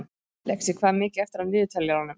Lexí, hvað er mikið eftir af niðurteljaranum?